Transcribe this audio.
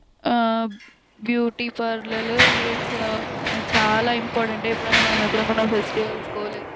ఆ beauty parlour it's చాలా important . ఎప్పుడైనా మనము ఎక్కడికైనా ఫెస్టివల్స్ కో లేదంటే--